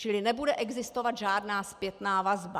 Čili nebude existovat žádná zpětná vazba.